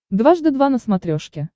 дважды два на смотрешке